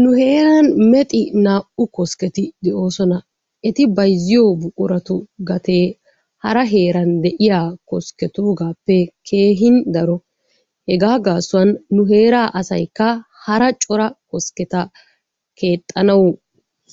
Nu heeran mexi naa'u kosketti de'oosona. Eti bayzziyo buquratu gatee hara heeraan de'iya kosketuugaappe keehin daro. Hegaa gaasuwan nu heeraa asaykka hara cora kosketa keexxanawu